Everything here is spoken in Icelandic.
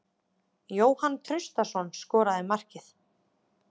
Jóhann Traustason skoraði markið.